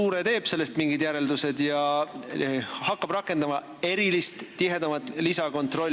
Kas luure teeb sellest mingid järeldused ja hakkab rakendama erilist, tihedamat lisakontrolli ...